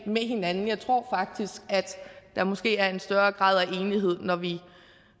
med hinanden jeg tror faktisk at der måske er en større grad af enighed når vi